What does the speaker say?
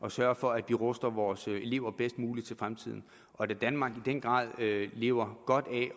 at sørge for at vi ruster vores elever bedst muligt til fremtiden og da danmark i den grad lever godt af